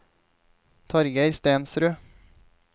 Torgeir Stensrud